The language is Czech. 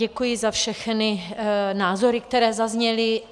Děkuji za všechny názory, které zazněly.